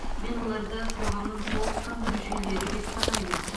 мен оларды қоғамның толыққанды мүшелері деп санаймын